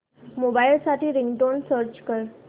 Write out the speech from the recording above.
mobile साठी ringtone search कर